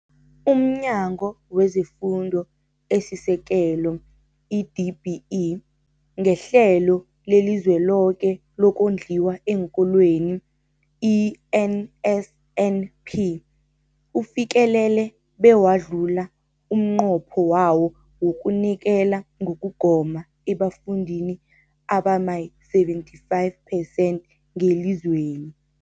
UmNyango wezeFundo esiSekelo, i-DBE, ngeHlelo leliZweloke lokoNdliwa eenKolweni, i-NSNP, ufikelele bewadlula umnqopho wawo wokunikela ngokugoma ebafundini abama-75 percent ngelizweni.